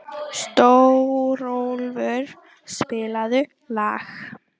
Stórólfur, spilaðu lag.